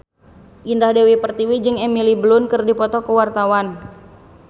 Indah Dewi Pertiwi jeung Emily Blunt keur dipoto ku wartawan